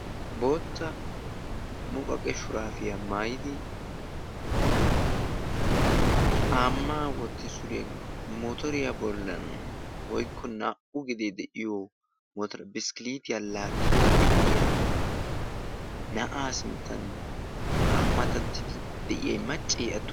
bootta muqaqe shuraafiyaa maayidi xaamaa wotti suriyaa motoriyaa bollan woikko naa"u gidee de'iyo mora biskkiliitiyaa laakidi de'iya na'aa sinttan haa matattidi de'iyay maccee attume?